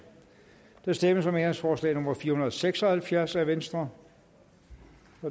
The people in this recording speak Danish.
der stemmes om ændringsforslag nummer fire hundrede og seks og halvfjerds af v og